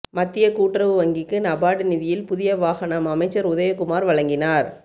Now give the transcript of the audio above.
மத்திய கூட்டுறவு வங்கிக்கு நபார்டு நிதியில் புதிய வாகனம் அமைச்சர் உதயகுமார் வழங்கினார்